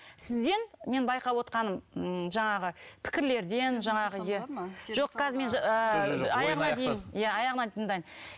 сізден мен байқап отырғаным м жаңағы пікірлерден жаңағы жоқ қазір мен ойын аяқтасын иә аяғына дейін